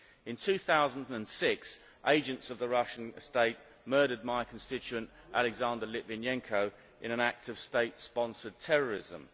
In 2006 agents of the Russian State murdered my constituent Alexander Litvinenko in an act of state sponsored terrorism.